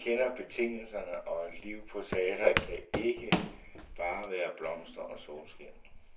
Danserne kender betingelserne, og et liv på teatret kan ikke bare være blomster og solskin.